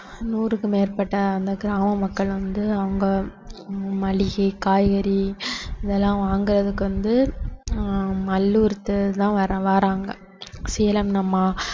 நூறுக்கும் மேற்பட்ட அந்த கிராம மக்கள் வந்து அவங்க மளிகை, காய்கறி இதெல்லாம் வாங்கறதுக்கு வந்து ஆஹ் மல்லூருக்கு தான் வர~ வர்றாங்க சேலம் நம்மா~